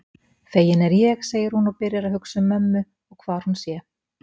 Fegin er ég, segir hún og byrjar að hugsa um mömmu og hvar hún sé.